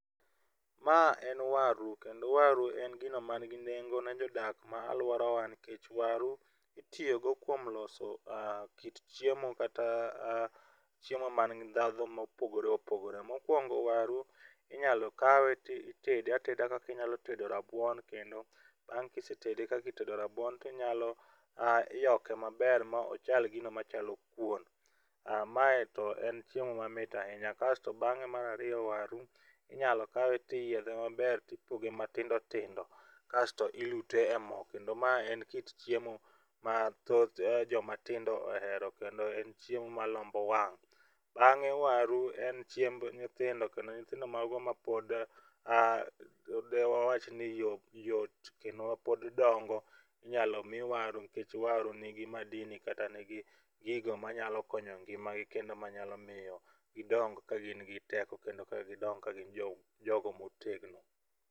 Ma en waru kendo waru en gino man gi nengo ne jodak mag aluorawa nikech waru itiyogo kuom loso kit chiemo kata chiemo man gi ndhadhu mopogore opogore. Mokuongo waru inyalo kawe to itede ateda kaka inyalo tedo rabuon, kendo bang' kisetede kaka itedo rabuon to inyalo yoke maber ma ochal gino machalo kuon. Mae to en chiemo mamit ahinya kasto bang'e mar ariyo, waru inyalo kawe to iyiedhe maber to ipoge matindo tindo kasto ilute e mo kendo mae en kit chiem, ma thoth joma tindo ohero kendo en chiemo malombo wang'. Bang'e waru en chiemb nyithindo kendo nyithindo mago mapod a ma dewach ni yot kendo mapod dongo inyalo mi waru nikech waru nigi madini kata nigi gigo manyalo konyo ngimagi, kendo manyalo miyo gidong ka gingi teko kendo ka gidong ka gin jogo motegno.